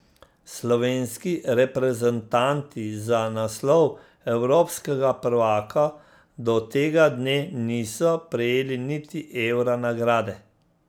Slovenski reprezentanti za naslov evropskega prvaka do tega dne niso prejeli niti evra nagrade.